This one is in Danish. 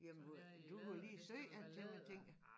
Jamen hvor du kunne lige sy en til mig tænkte jeg